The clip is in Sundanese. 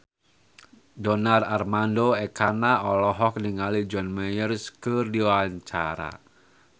Donar Armando Ekana olohok ningali John Mayer keur diwawancara